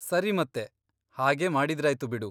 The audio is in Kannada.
ಸರಿ ಮತ್ತೆ, ಹಾಗೇ ಮಾಡಿದ್ರಾಯ್ತು ಬಿಡು.